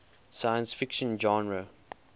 science fiction genre